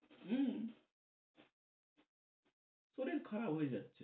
হম শরীর খারাপ হয়ে যাচ্ছে।